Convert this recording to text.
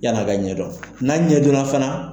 Yani a ka ɲɛdɔn, n'a ɲɛdon na fana.